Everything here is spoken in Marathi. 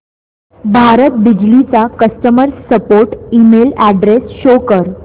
भारत बिजली चा customer support email address show कर